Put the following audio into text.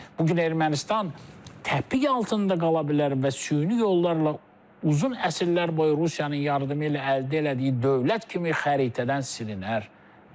Bu gün Ermənistan təpiq altında qala bilər və süni yollarla uzun əsrlər boyu Rusiyanın yardımı ilə əldə elədiyi dövlət kimi xəritədən silinər.